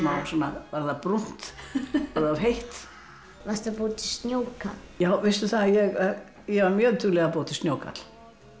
varð það brúnt var of heitt varstu að búa til snjókarl ég ég var mjög dugleg að búa til snjókarl